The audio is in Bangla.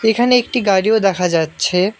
এখানে একটি গাড়িও দেখা যাচ্ছে।